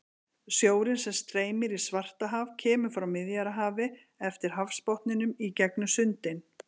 Sjórinn sem streymir í Svartahaf kemur frá Miðjarðarhafi eftir hafsbotninum í gegnum sundin.